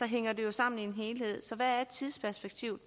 hænger det jo sammen i en helhed hvad er tidsperspektivet